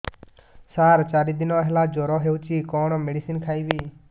ସାର ଚାରି ଦିନ ହେଲା ଜ୍ଵର ହେଇଚି କଣ ମେଡିସିନ ଖାଇବି